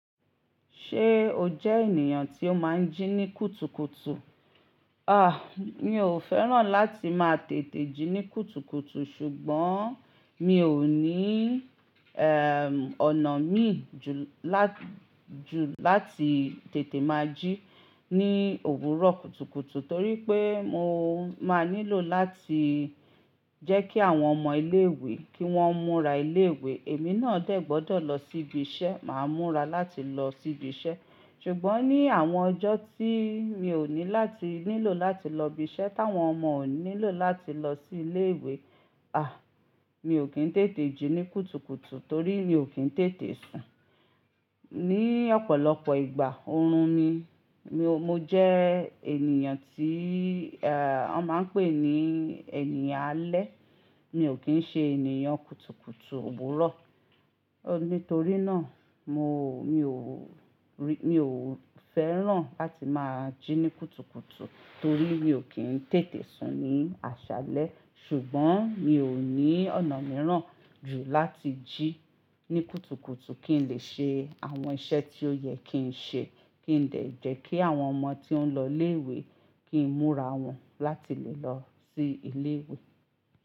Ṣé o jẹ́ ènìyàn tí ó máa ń jí ní kùtùkùtù? À, mi ò fẹ́ràn láti máa tètè jí ní kùtùkùtù, ṣùgbọ́n mi ò ní, ehn, ọ̀nà mí ju lá-- ju láti tètè máa jí ní òwúrọ̀ kùtùkùtù torí pé mo máa nílò láti jẹ́ kí àwọn ọmọ ilé ìwé kí wọ́n múra ilé ìwé, èmi náà dẹ̀ gbọ́dọ̀ lọ sí ibi iṣẹ́, màá múra láti lọ sí ibi iṣẹ́. Ṣùgbọ́n ní àwọn ọjọ́ tí mi ò ní láti nílò láti lọ ibi iṣẹ́ táwọn ọmọ ò nílò láti lọ sí ilé ìwé, à, mi ò kí ń tètè jí ní kùtùkùtù torí mi ò kí ń tètè sùn. Ni ọ̀pọ̀lọpọ̀ ìgbà, oorun ni. Mi ò-- mo jẹ́ ènìyàn tí, ọ máa ń pè ní ènìyàn alẹ́. Mi ò kí ń ṣe ènìyàn kùtùkùtù òwúrọ̀. Nítorí náà, mo, mi ò rí-- mi ò fẹ́ràn láti máa jí ní kùtùkùtù torí mi ò kí ń tètè sùn ní àṣálẹ́. Ṣùgbọ́n mi ò ní ọ̀nà mìíràn ju láti jí ní kùtùkùtù kí n lè ṣe àwọn iṣẹ́ tí ó yẹ kí n ṣe kí n lè jẹ́ kí àwọn ọmọ tí ó ń lọ ilé ìwé kí n múra wọn láti lè lọ sí ilé ìwé.